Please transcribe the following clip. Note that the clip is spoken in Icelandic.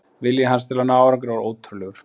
Vilji hans til að ná árangri var ótrúlegur.